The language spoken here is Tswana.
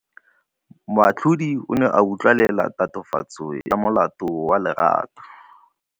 Moatlhodi o ne a utlwelela tatofatsô ya molato wa Lerato.